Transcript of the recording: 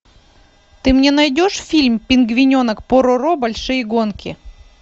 ты мне найдешь фильм пингвиненок пороро большие гонки